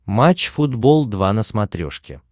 матч футбол два на смотрешке